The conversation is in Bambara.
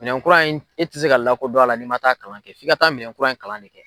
Minɛn kura in i tɛ se ka lakodɔn a la n'i man taa a kalan kɛ f'i ka taa minɛn kura in kalan kɛ.